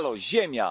Halo, Ziemia!